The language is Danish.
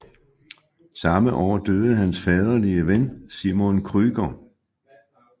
Samme år døde hans faderlige ven Simon Krüger